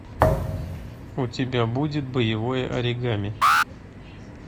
у тебя будет боевое оригами